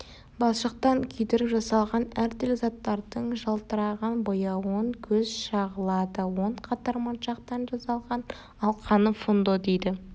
балшықтан күйдіріп жасалған әртүрлі заттардың жалтыраған бояуын көз шағылады он қатар моншақтан жасалған алқаны фундо дейді